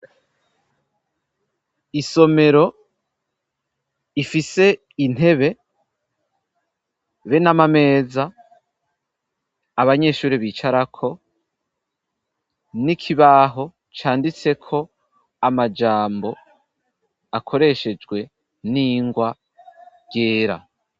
Isomero ifise Intebe, be n'Amameza Abanyeshuri bicarako, n'ikibaho canditse ko Amajambo akoreshejwe n'ingwa ryera.